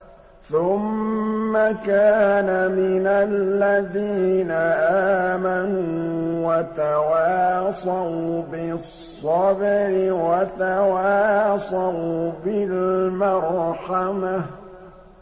ثُمَّ كَانَ مِنَ الَّذِينَ آمَنُوا وَتَوَاصَوْا بِالصَّبْرِ وَتَوَاصَوْا بِالْمَرْحَمَةِ